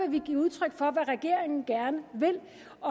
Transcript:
vi give udtryk for hvad regeringen gerne vil